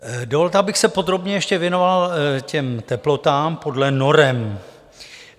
Dovolte, abych se podrobně ještě věnoval těm teplotám podle norem.